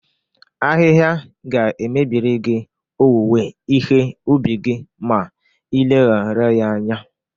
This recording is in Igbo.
Ahịha ga-emebiri gị owuwe ihe ubi gị ma ị leghara ya anya.